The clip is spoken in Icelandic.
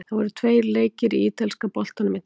Það voru tveir leikir í ítalska boltanum í dag.